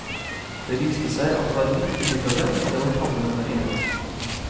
Det viste seg at det var midt i middagen, og det var tabbe nummer en.